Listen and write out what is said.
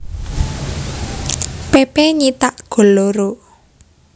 Pepe nyithak loro gol